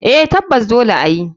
Eh tabbas dole ayi.